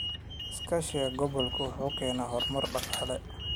Iskaashiga gobolku wuxuu keenaa horumar dhaqaale.